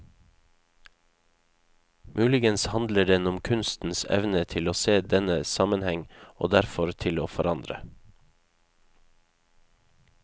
Muligens handler den om kunstens evne til å se denne sammenheng og derfor til å forandre.